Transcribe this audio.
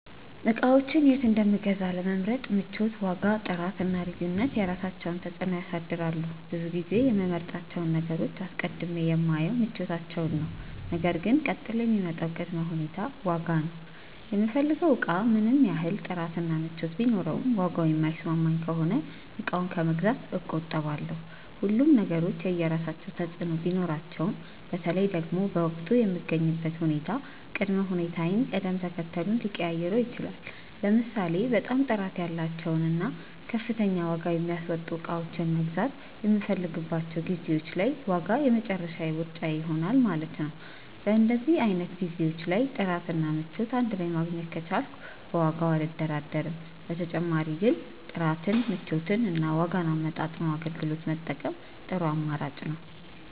እቃዎችን የት እንደምገዛ ለመምረጥ ምቾት፣ ዋጋ፣ ጥራት እና ልዩነት የራሳቸውን ተፅዕኖ ያሳድራሉ። ብዙ ጊዜ የምመርጣቸውን ነገሮች አስቀድሜ የማየው ምቾታቸውን ነው ነገር ግን ቀጥሎ የሚመጣው ቅድመ ሁኔታ ዋጋ ነው። የምፈልገው እቃ ምንም ያህል ጥራት እና ምቾት ቢኖረውም ዋጋው የማይስማማኝ ከሆነ እቃውን ከመግዛት እቆጠባለሁ። ሁሉም ነገሮች የየራሳቸው ተፅእኖ ቢኖራቸውም በተለይ ደግሞ በወቅቱ የምገኝበት ሁኔታ ቅድመ ሁኔታዬን ቅደም ተከተሉን ሊቀያይረው ይችላል። ለምሳሌ በጣም ጥራት ያላቸውን እና ከፍተኛ ዋጋ የሚያስወጡ እቃዎችን መግዛት የምፈልግባቸው ጊዜዎች ላይ ዋጋ የመጨረሻ ምርጫዬ ይሆናል ማለት ነው። በእንደዚህ አይነት ጊዜዎች ላይ ጥራት እና ምቾት እንድ ላይ ማግኘት ከቻልኩ በዋጋው አልደራደርም። በተጨማሪ ግን ጥራትን፣ ምቾትን እና ዋጋን አመጣጥኖ አገልግሎት መጠቀም ጥሩ አማራጭ ነው።